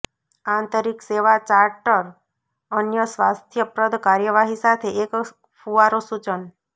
આંતરિક સેવા ચાર્ટર અન્ય સ્વાસ્થ્યપ્રદ કાર્યવાહી સાથે એક ફુવારો સૂચન